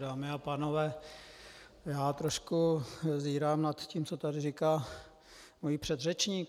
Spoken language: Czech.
Dámy a pánové, já trošku zírám na to, co tady říká můj předřečník.